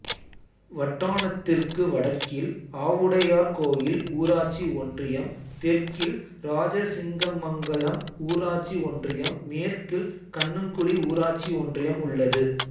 வட்டானத்திற்கு வடக்கில் ஆவுடையார்கோயில் ஊராட்சி ஒன்றியம் தெற்கில் இராஜசிங்கமங்கலம் ஊராட்சி ஒன்றியம் மேற்கில் கண்ணங்குடி ஊராட்சி ஒன்றியம் உள்ளது